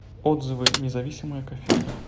отзывы независимая кофейня